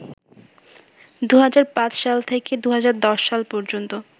২০০৫ সাল থেকে ২০১০ সাল পর্যন্ত